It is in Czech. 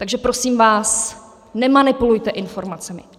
Takže prosím vás, nemanipulujte informacemi.